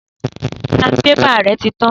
Sanbébà rẹ ti tan